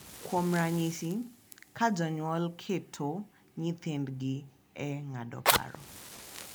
Kuom ranyisi, ka jonyuol keto nyithindgi e ng’ado paro—